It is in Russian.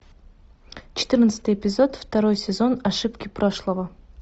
четырнадцатый эпизод второй сезон ошибки прошлого